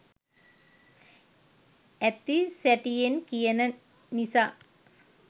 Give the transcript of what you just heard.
ඇති සැටියෙන් කියන නිසා.